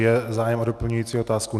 Je zájem o doplňující otázku?